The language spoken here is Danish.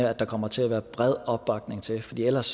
at der kommer til at være bred opbakning til det fordi ellers